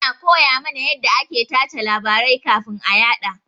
Ana koya mana yanda ake tace labarai kafin a yaɗa.